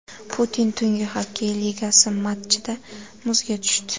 Putin Tungi xokkey ligasi matchida muzga tushdi.